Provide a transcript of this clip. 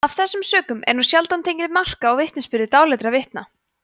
af þessum sökum er nú sjaldan tekið mark á vitnisburði dáleiddra vitna